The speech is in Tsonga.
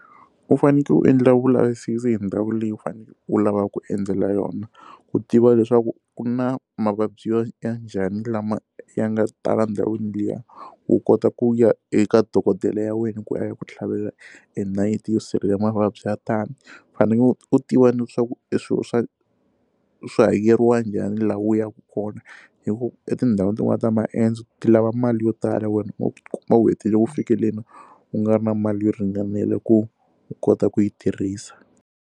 U fanekele u endla vulavisisi hi ndhawu leyi u faneleke u lavaka ku endzela yona ku tiva leswaku ku na mavabyi ya ya njhani lama ya nga tala ndhawini liya wu kota ku ya eka dokodela ya wena ku a ya ku tlhavela enayiti yo sivela mavabyi ya tani u fanekele u tiva ni leswaku eswilo swa swi hakeriwa njhani laha u yaka kona hikuva emu etindhawini tin'wana ta maendzo ti lava mali yo tala u nga ri na mali yo ringanela ku u kota ku yi tirhisa.